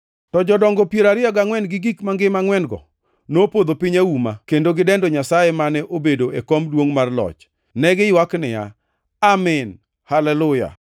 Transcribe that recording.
To jodongo piero ariyo gangʼwen gi gik mangima angʼwen-go, nopodho piny auma kendo gidendo Nyasaye mane obedo e kom duongʼ mar loch. Ne giywak niya, “Amin! Haleluya!”